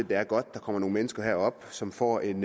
det er godt at der kommer nogle mennesker herop som får en